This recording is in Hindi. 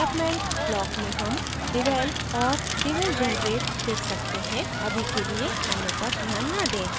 development block में हम devel और devel generate देख सकते हैं अभी के लिए अन्य पर ध्यान न दें